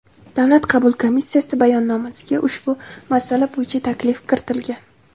Davlat qabul komissiyasi bayonnomasiga ushbu masala bo‘yicha taklif kiritilgan.